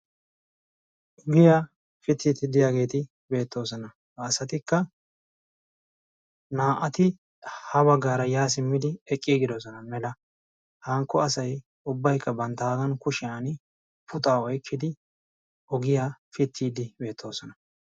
ogiyaa pittiidi diyaageeti beettoosona a asatikka naa77ati ha baggaara yaa simmidi eqqi gidosona mela hankko asay ubbaykka banttaagan kushiyan puxa oykkidi ogiyaa pittiiddi beettoosona.